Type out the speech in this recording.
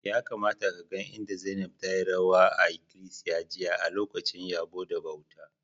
Ya kamata ka gan inda Zainab tayi rawa a ikilisiya jiya a'lokacin yabbo da bauta.